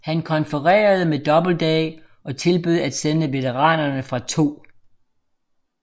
Han konfererede med Doubleday og tilbød at sende veteranerne fra 2